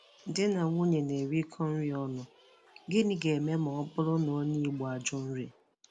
Di na nwunye na-erikọ nri ọnụ, gịnị ga-eme ma ọ bụrụ na onye Igbo ajụ nri